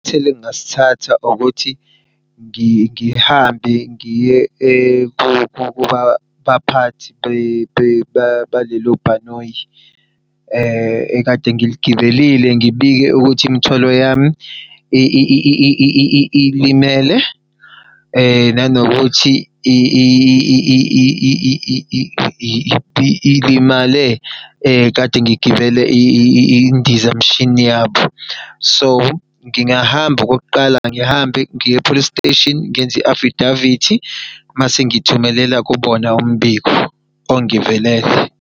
Isinyathelo egingasithatha ukuthi ngihambe ngiye kubaphathi balelo bhanoyi ekade ngiligibelile. Ngibike ukuthi imithwalo yami ilimele, nanokuthi ilimale kade ngigibele indizamshini yabo. So, ngingahamba okokuqala, ngihambe ngiye e-police station ngenze i-afidavithi mase ngithumelela kubona umbiko, ongivelele.